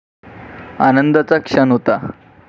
आनंदाचा क्षण होता.